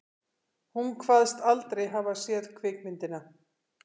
Hún kvaðst aldrei hafa séð kvikmyndina